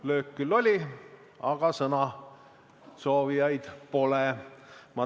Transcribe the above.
Löök küll oli, aga sõnasoovijaid pole.